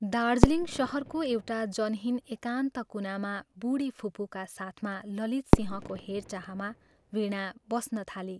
दार्जीलिङ शहरको एउटा जनहीन एकान्त कुनामा बूढी फुपूका साथमा ललितसिंहको हेरचाहमा वीणा बस्न थाली।